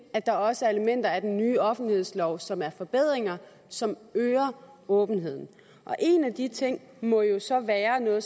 at der også er elementer af den nye offentlighedslov som er forbedringer som øger åbenheden en af de ting må jo så være noget af